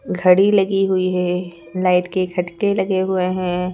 घड़ी लगी हुई है लाइट के खटके लगे हुए हैं।